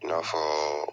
I n'a fɔ